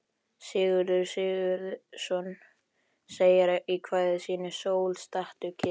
Sigurður Sigurðsson segir í kvæði sínu: Sól, stattu kyrr.